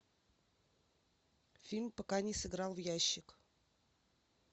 фильм пока не сыграл в ящик